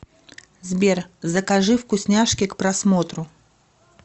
сбер закажи вкусняшки к просмотру